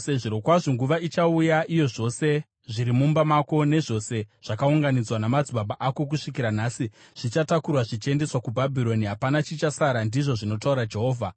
Zvirokwazvo nguva ichauya iyo zvose zviri mumba mako, nezvose zvakaunganidzwa namadzibaba ako kusvikira nhasi, zvichatakurwa zvichiendeswa kuBhabhironi. Hapana chichasara, ndizvo zvinotaura Jehovha.